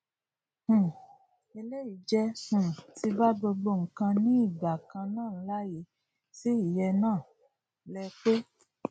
um eléyìí jẹ um tí bá gbogbo ǹkan ní ìgbà kanannáànláì sí ìyẹnó lè pé